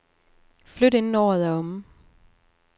Flyt inden året er omme.